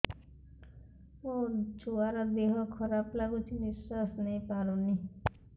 ମୋ ଛୁଆର ଦିହ ଖରାପ ଲାଗୁଚି ନିଃଶ୍ବାସ ନେଇ ପାରୁନି